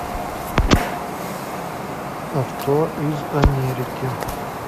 авто из америки